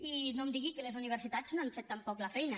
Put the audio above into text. i no em digui que les universitats no han fet tampoc la feina